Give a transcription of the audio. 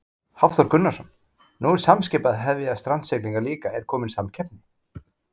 Hafþór Gunnarsson: Nú er Samskip að hefja strandsiglingar líka, er komin samkeppni?